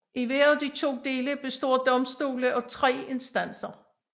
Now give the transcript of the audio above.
I hver af de to dele består domstole af tre instanser